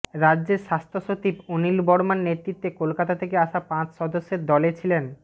রাজ্যের স্বাস্থ্যসচিব অনিল বর্মার নেতৃত্বে কলকাতা থেকে আসা পাঁচ সদস্যের দলে ছিলেন